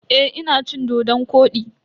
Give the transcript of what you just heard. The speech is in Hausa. Eh, ina cin dodon-kwodi.